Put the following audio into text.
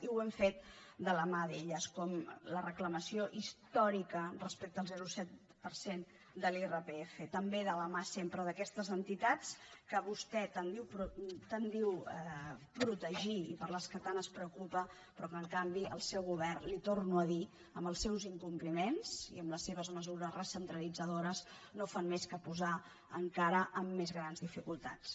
i ho hem fet de la mà d’elles com la reclamació històrica respecte al zero coma set per cent de l’irpf també de la mà sempre d’aquestes entitats que vostè tant diu protegir i per què tant es preocupa però que en canvi el seu govern li ho torno a dir amb els seus incompliments i amb les seves mesures recentralitzadores no fa més que posar encara en més grans dificultats